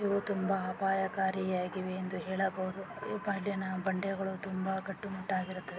ಇದು ತುಂಬಾ ಅಪಾಯಕಾರಿಯಾಗಿವೆ ಎಂದು ಹೇಳಬಹುದು ಈ ಬಂಡೆಗಳು ತುಂಬಾ ಗಟ್ಟು ಮುಟ್ಟಾಗಿರುತ್ತವೆ.